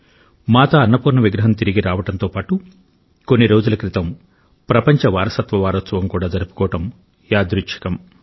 మాతా అన్నపూర్ణ విగ్రహం తిరిగి రావడంతో పాటు కొన్ని రోజుల క్రితం ప్రపంచ వారసత్వ వారోత్సవం కూడా జరుపుకోవడం యాదృచ్చికం